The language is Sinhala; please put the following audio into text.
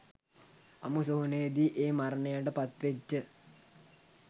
අමුසොහොනෙදි ඒ මරණයට පත්වෙච්ච